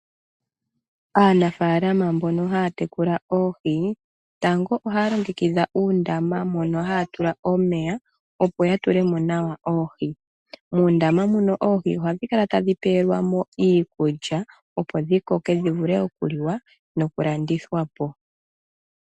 Aanafaalama mbono haya tekula oohi tango ohaya longekidha uundama mono haya tula omeya opo ya tule mo nawa oohi. Muundama muno oohi ohadhi kala tadhi pewelwa mo iikulya opo dhi koke dhi vule okuliwa nokulandithwa po.